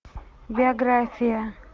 биография